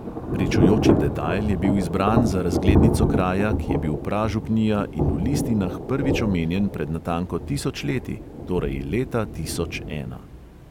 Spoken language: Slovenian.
Pričujoči detajl je bil izbran za razglednico kraja, ki je bil pražupnija in v listinah prvič omenjen pred natanko tisoč leti, torej leta tisoč ena.